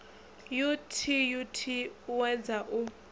u t ut uwedza u